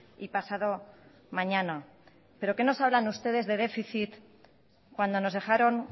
y pasado mañana pero qué nos hablan ustedes de déficit cuando nos dejaron